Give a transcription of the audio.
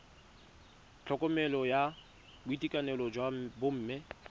tlhokomelo ya boitekanelo jwa bomme